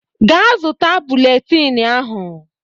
Ga zụta bụletini ahụ!